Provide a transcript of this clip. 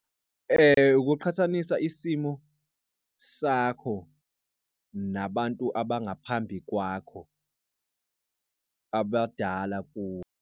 Ukuqhathanisa isimo sakho nabantu abangaphambi kwakho, abadala kuwe.